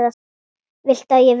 Viltu að ég veki hana?